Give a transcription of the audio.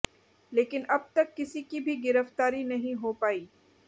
लेकिन अब तक किसी की भी गिरफ्तारी नहीं हो पाई